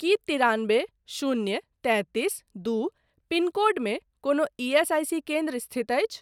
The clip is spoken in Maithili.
की तिरानबे शून्य तैंतीस दू पिनकोडमे कोनो ईएसआईसी केन्द्र स्थित अछि ?